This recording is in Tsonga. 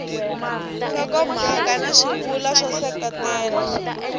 nhlokomhaka na swivulwa swo seketela